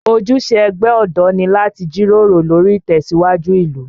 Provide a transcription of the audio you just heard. Ojúṣe ẹgbẹ́ ọ̀dọ́ ni láti jíròrò lórí ìtẹ̀síwájú ìlú